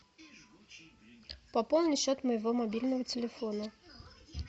пополни счет моего мобильного телефона